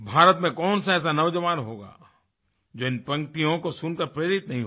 भारत में कौनसा ऐसा नौजवान होगा जो इन पंक्तियों को सुनकर के प्रेरित नही होगा